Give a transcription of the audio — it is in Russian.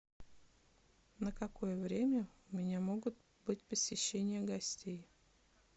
на какое время у меня могут быть посещения гостей